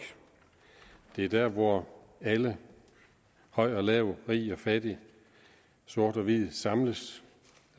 det er der hvor alle høj og lav rig og fattig sort og hvid samles